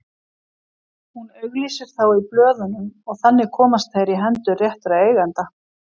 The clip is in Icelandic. Hún auglýsir þá í blöðunum og þannig komast þeir í hendur réttra eigenda.